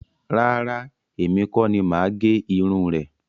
Rárá, èmi kọ́ ni máa gé irun rẹ̀